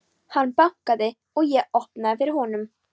Hann bankaði og ég opnaði fyrir honum.